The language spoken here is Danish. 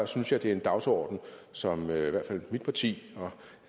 synes jeg det er en dagsorden som i hvert fald mit parti og